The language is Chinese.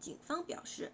警方表示